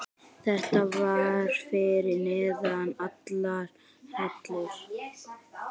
Þetta var fyrir neðan allar hellur.